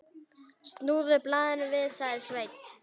Snúðu blaðinu við, sagði Sveinn.